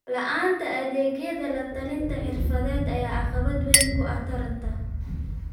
La'aanta adeegyo la-talin xirfadeed ayaa caqabad weyn ku ah taranta.